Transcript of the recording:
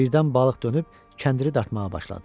Birdən balıq dönüb kəndiri dartmağa başladı.